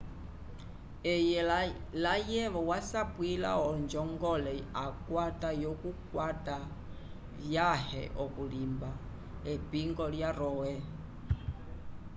eye layevo wasapwila onjongole akwata yokukwata vyãhe okulimba epingo lya roe